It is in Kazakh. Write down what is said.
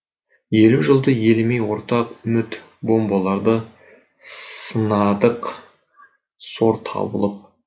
елу жылды елемей ортақ үміт бомбаларды сынадық сор табылып